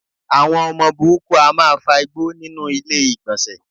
Àwọn ọmọ burúkú á máa fa igbó nínú ilé ìgbọ̀nsẹ̀.